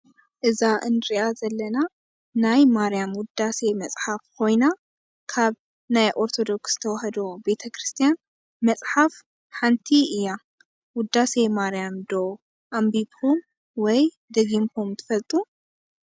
እዛ እንሪኣ ዘለና ናይ ማርያም ውዳሴ መፅሓፍ ኮይና ካብ ናይ ኦርቶዶክስ ተዋህዶ ቤተ-ክርስትያን መፅሓፍ ሓንቲ እያ። ወዳሴ ማርያም ዶ ኣንቢብኩም ወይ ደጊምኩም ትፈልጡ?